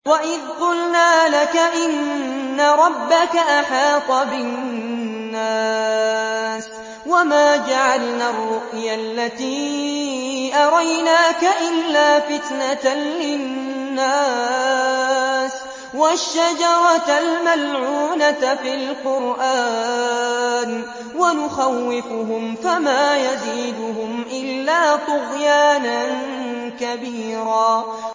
وَإِذْ قُلْنَا لَكَ إِنَّ رَبَّكَ أَحَاطَ بِالنَّاسِ ۚ وَمَا جَعَلْنَا الرُّؤْيَا الَّتِي أَرَيْنَاكَ إِلَّا فِتْنَةً لِّلنَّاسِ وَالشَّجَرَةَ الْمَلْعُونَةَ فِي الْقُرْآنِ ۚ وَنُخَوِّفُهُمْ فَمَا يَزِيدُهُمْ إِلَّا طُغْيَانًا كَبِيرًا